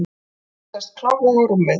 Ég sest klofvega á rúmið.